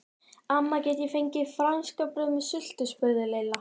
Amma, get ég fengið franskbrauð með sultu? spurði Lilla.